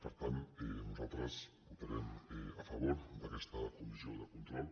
per tant nosaltres votarem a favor d’aquesta comissió de control